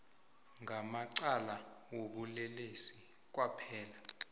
ngamacala wobulelesi kwaphela